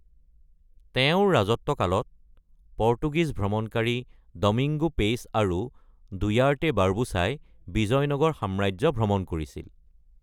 তেওঁৰ ৰাজত্বকালত পৰ্তুগীজ ভ্ৰমণকাৰী ডমিংগো পেইছ আৰু ডুয়াৰ্টে বাৰ্বোছাই বিজয়নগৰ সাম্ৰাজ্য ভ্ৰমণ কৰিছিল।